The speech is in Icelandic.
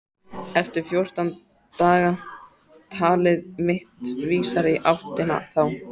Eftir fjórtán daga- talið mitt vísar í áttina þá.